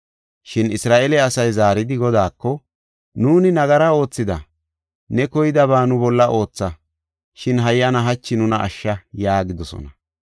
Shin Isra7eele asay zaaridi Godaako, “Nuuni nagara oothida. Ne koydaba nu bolla ootha; shin hayyana hachi nuna ashsha” yaagidosona.